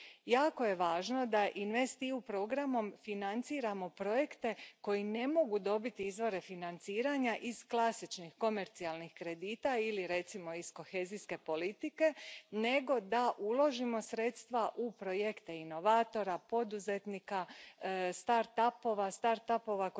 Jako je važno da InvestEU programom financiramo projekte koji ne mogu dobiti izvore financiranja iz klasičnih komercijalnih kredita ili, recimo, iz kohezijske politike, nego da uložimo sredstva u projekte inovatora, poduzetnika, startupova startupova